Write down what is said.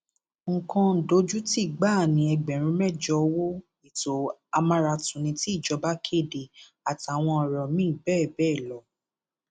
lára àwọn tó ti kí bàbá olójòòbí ni tọyìn adéwálé fatia balógun sọlá kọsókó àti bẹẹ bẹẹ lọ